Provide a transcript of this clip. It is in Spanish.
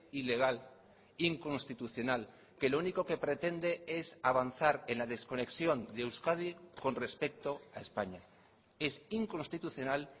ilegal inconstitucional que lo único que pretende es avanzar en la desconexión de euskadi con respecto a españa es inconstitucional